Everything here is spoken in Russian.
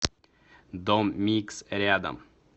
дом микс рядом